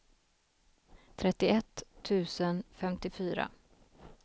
trettioett tusen femtiofyra